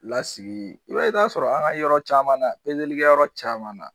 Lasigi i b'a i b'a sɔrɔ an ka yɔrɔ caman na pezelikɛyɔrɔ caman na